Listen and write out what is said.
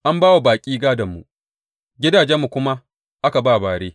An ba wa baƙi gādonmu, gidajenmu kuma aka ba bare.